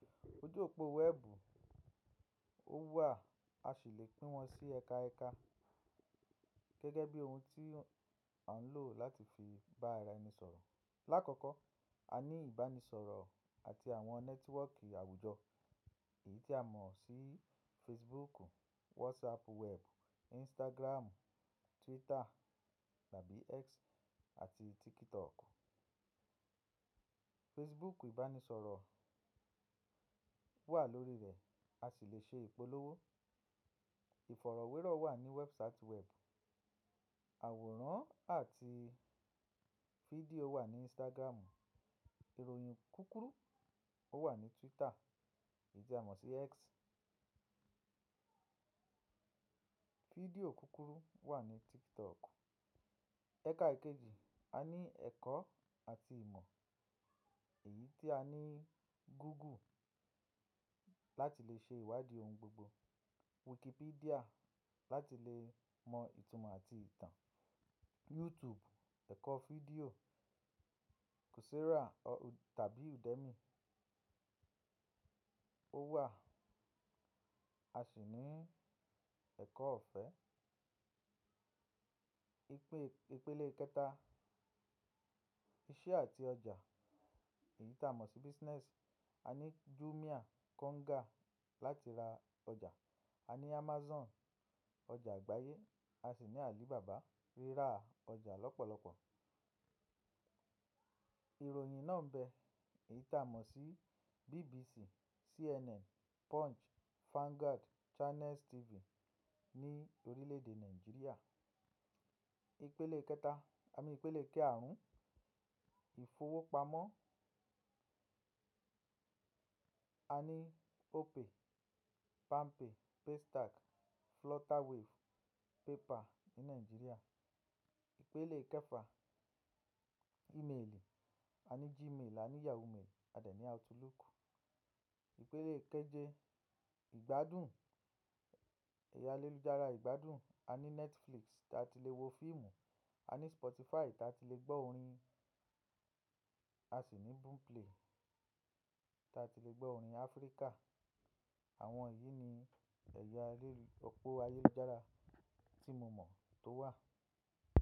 Ojú òpó wẹ́ẹ̀bù, ó wà, a sì lè pín wọn sí ẹka ẹka gẹ́gẹ́ bí oun tí à ń lò láti fi bá ara ẹni sọ̀rọ̀. Láàkọ́kọ́, a ní ìbánisọ̀rọ̀ àti àwọn nẹ́tíwọ́ọ̀kì àwùjọ èyí tí a mọ̀ sí Facebooku, WhatsApp web, Instagramu, Twitter tàbí X àti TikToku. Facebooku ìbánisọ̀rọ̀ wà lórí rẹ̀, a sì lè ṣe ìpolówó. Ìfọ̀rọ̀wérọ̀ wà ní whatsapp web. Àwòrán àti fídíò wà ní Instagramu. Ìròyìn kúkúrú ó wà ní Twitter èyí tí a mọ̀ sí X. Fídíò kúkúrú wà ní TikToku. Ẹ̀ka kejì, a ní ẹ̀kọ́ àti ìmọ̀ èyí tí a ní Google láti lè ṣe ìwádìí oun gbogbo. Wikipedia láti lè mọ ìtumọ̀ àti ìtàn. YouTube ẹ̀kọ́ fídíò. Coursera tàbí Udemy ó wà. A sì ní ẹ̀kọ́ ọ̀fẹ́. Ipele kẹ́ta, iṣẹ́ àti ọjà èyí tí a mọ̀ sí business. A ní Jumia, Konga láti ra ọjà. A ní Amazon ọjà àgbáyé, a sì ní Alibaba rírà ọjà lọ́pọ̀lọpọ̀. Ìròyìn náà ń bẹ èyí tí a mọ̀ sí BBC, CNN, Punch, Vanguard, Channels TV ní orílẹ̀ èdè Nàìjíríà. Ipele kẹta, a ní ìpele kaarún, ìfowópamọ́. A ní Opay, Palmpay, Paystack, Flutterwave, Paypal ní Nàìjíríà. Ipele kẹfà, ímeèlì. A ní Gmail, a ní Yahoo Mail, a dà ní Outlook. Ipele kẹjẹ, ìgbádùn, ẹ̀ya alélùjára ìgbádùn. A ní Netflix tí a ti lè wo fíìmù. A ní Spotify tí a ti lè gbọ́ orin. A sì ní Boomplay tí a ti lè gbọ́ orin Áfríkà. Àwọn èyí ni ẹ̀ya òpó ayélujára tí mo mọ̀ tó wà.